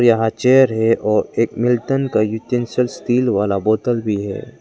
यहां चेयर है और एक मिल्टन का स्टील वाला बोतल भी है।